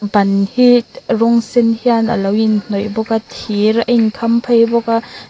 ban hi rawng sen hian a lo in hnawih bawk a thir a in kham phei bawk a.